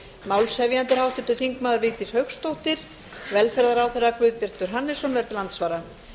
málshefjandi er háttvirtur þingmaður vigdís hauksdóttir velferðarráðherra guðbjartur hannesson verður til andsvara